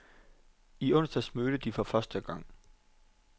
I onsdags mødtes de for første gang.